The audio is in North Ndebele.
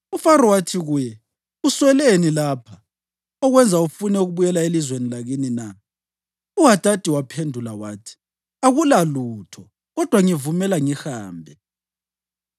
UFaro wathi kuye, “Usweleni lapha okwenza ufune ukubuyela elizweni lakini na?” UHadadi waphendula wathi, “Akulalutho kodwa ngivumela ngihambe!”